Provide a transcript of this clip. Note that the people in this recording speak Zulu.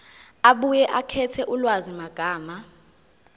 abuye akhethe ulwazimagama